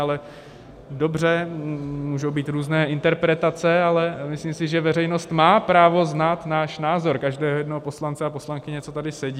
Ale dobře, můžou být různé interpretace, ale myslím si, že veřejnost má právo znát náš názor, každého jednoho poslance a poslankyně, co tady sedí.